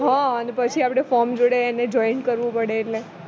હ અને પછી આપણે form જોડે એને joint કરવું પડે એટલે